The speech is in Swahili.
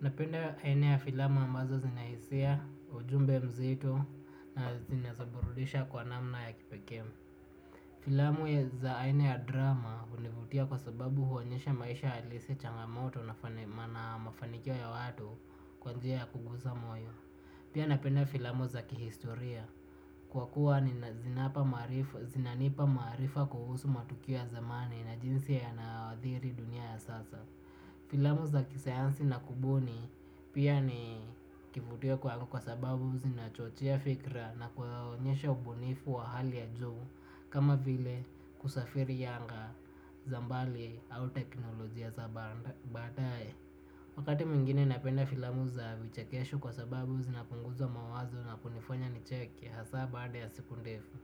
Napenda aina ya filamu ambazo zinahisia, ujumbe mzito na zinazoburudisha kwa namna ya kipekee. Filamu za aine ya drama univutia kwa sababu huonyesha maisha halisi changamoto na mafanikio ya watu kwa njia ya kugusa moyo. Pia napenda filamu za kihistoria. Kwa kuwa ni zinanipa maarifa kuhusu matukio ya zamani na jinsi yanaadhiri dunia ya sasa. Filamu za kisayansi na kubuni pia ni kivutio kwangu kwa sababu zinachochea fikra na kuwaonyesha ubunifu wa hali ya juu. Kama vile kusafiri yanga, za mbali au teknolojia za baadaye wakati mwingine napenda filamu za vichekesho kwa sababu zinapunguza mawazo na kunifanya nicheke hasa baada ya siku ndefu